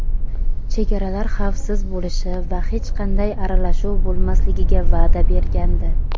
chegaralar xavfsiz bo‘lishi va hech qanday aralashuv bo‘lmasligiga va’da bergandi.